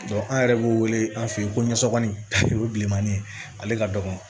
an yɛrɛ b'u wele an fe yen ko ɲɛsɔgɔnin o ye bilemani ye ale ka dɔgɔn